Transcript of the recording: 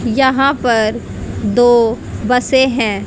यहां पर दो बसे है।